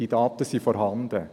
Diese Daten sind vorhanden.